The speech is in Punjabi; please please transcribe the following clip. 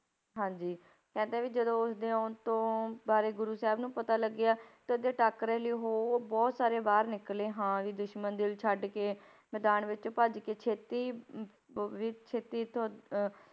ਹਾਂਜੀ ਕਹਿੰਦੇ ਵੀ ਜਦੋਂ ਉਸਦੇ ਆਉਣ ਤੋਂ ਬਾਰੇ ਗੁਰੂ ਸਾਹਿਬ ਨੂੰ ਪਤਾ ਲੱਗਿਆ ਤੇ ਉਹਦੇ ਟਾਕਰੇ ਲਈ ਉਹ ਬਹੁਤ ਸਾਰੇ ਬਾਹਰ ਨਿਕਲੇ ਹਾਂ ਵੀ ਦੁਸ਼ਮਣ ਦਿਲ ਛੱਡ ਕੇ ਮੈਦਾਨ ਵਿਚੋਂ ਭੱਜ ਕੇ ਛੇਤੀ ਅਹ ਵੀ ਛੇਤੀ ਤੋਂ ਅਹ